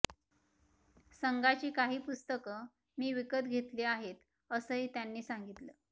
संघाची काही पुस्तकं मी विकत घेतली आहेत असंही त्यांनी सांगितलं